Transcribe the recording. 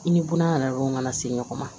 I ni buna don kana se ɲɔgɔn ma